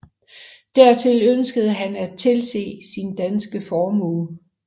Dertil ønskede han at tilse sin danske formue